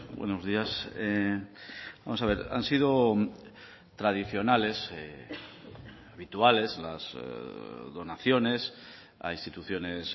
buenos días vamos a ver han sido tradicionales habituales las donaciones a instituciones